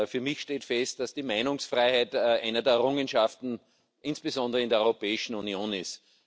Für mich steht fest, dass die Meinungsfreiheit eine der Errungenschaften insbesondere in der Europäischen Union ist.